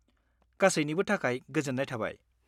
-गासैनिबो थाखाय गोजोन्नाय थाबाय।